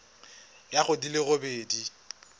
ya go di le robedi